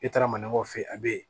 E taara maninkaw fɛ a bɛ yen